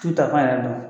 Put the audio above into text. T'u ta fan yɛrɛ la